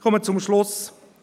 Ich komme zum Schluss.